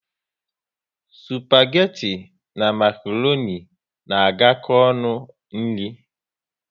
spageti na makroni na agako ọnụ n'nri